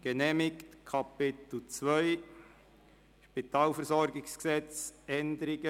Somit kommen wir zur Detailberatung.